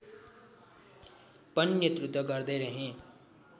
पनि नेतृत्व गर्दैरहे